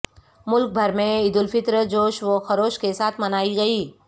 ملک بھر میں عیدالفطر جوش و خروش کے ساتھ منائی گئی